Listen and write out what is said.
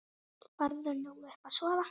Farðu nú upp að sofa.